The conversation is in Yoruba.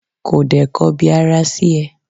ko de kọbi ara sí e?